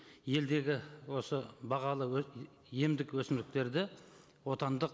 елдегі осы бағалы емдік өсімдіктерді отандық